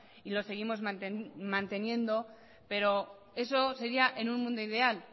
y lo seguimos manteniendo pero eso sería en un mundo ideal